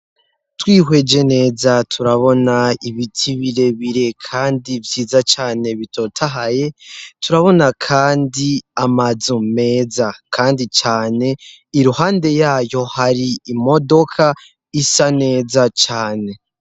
Twihwejr neza turabona ibiti birebire kandi vyiza cane bitotahaye turabona kandi amazu meza kandi cane iruhande yayo hari imodoka isa neza cane.